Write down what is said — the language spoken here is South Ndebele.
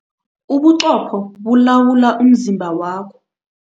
Ubuqopho bulawula umzimba wakho.